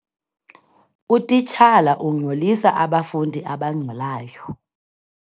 Utitshala ungxolisa abafundi abangxolayo.